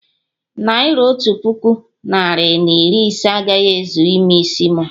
Naira otu puku narị na iri ise agaghị ezu ime isi mu